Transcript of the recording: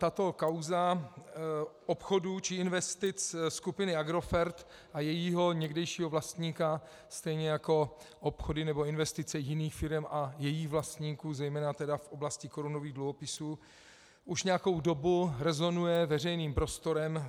Tato kauza obchodů či investic skupiny Agrofert a jejího někdejšího vlastníka stejně jako obchody nebo investice jiných firem a jejích vlastníků, zejména tedy v oblasti korunových dluhopisů, už nějakou dobu rezonuje veřejným prostorem.